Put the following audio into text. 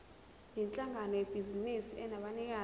yinhlangano yebhizinisi enabanikazi